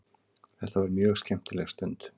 Þetta var mjög skemmtileg stund.